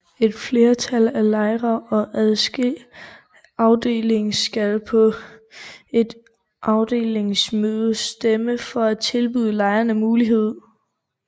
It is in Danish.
Et flertal af lejerne i en afdeling skal på et afdelingsmøde stemme for at tilbyde lejerne muligheden